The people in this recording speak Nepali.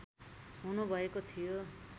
हुनु भएको थियो